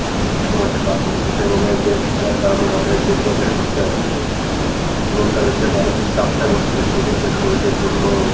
সময়টা পার করতেছে এবং এই games খেলার কারণে তাদের যে চোখের ক্ষতি টা হচ্ছে এবং তাদের যে মানসিক চাপটা পড়তেছে সেই ক্ষেত্রে শরীলের জন্য